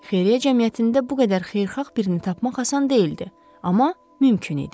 Xeyriyyə cəmiyyətində bu qədər xeyirxah birini tapmaq asan deyildi, amma mümkün idi.